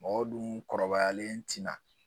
Mɔgɔw dun kɔrɔbayalen tina